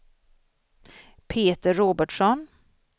Peter Robertsson